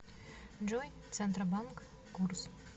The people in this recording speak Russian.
джой центробанк курс